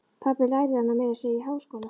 Pabbi lærði hana meira að segja í háskóla.